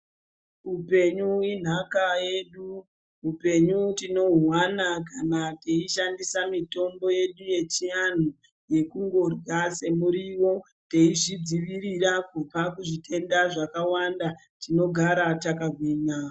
Upenyu inhaka yedu , hupenyu tinohuwana kana teishandisa mitombo yedu yechianhu yekungorya semuriwo teizvidzivirira kubva kuzvitenda zvakawanda tinogara yakagwinya.